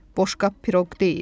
Boşqab piroq deyil.